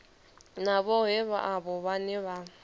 na vhohe avho vhane vha